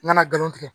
N kana galon tigɛ